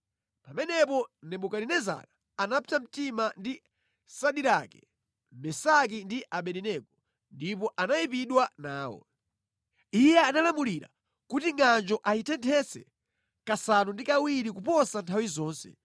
Pamenepo Nebukadinezara anapsa mtima ndi Sadirake, Mesaki ndi Abedenego, ndipo anayipidwa nawo. Iye analamulira kuti ngʼanjo ayitenthetse kasanu ndi kawiri kuposa nthawi zonse,